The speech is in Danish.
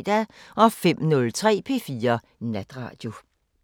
05:03: P4 Natradio